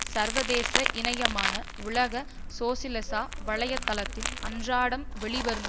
சர்வதேச இணையமான உலக சோசியலிச வலை தளத்தில் அன்றாடம் வெளிவரும்